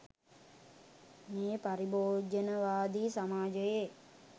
මේ පරිභෝජනවාදී සමාජයේ